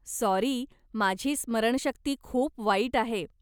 Sorry, माझी स्मरणशक्ती खूप वाईट आहे.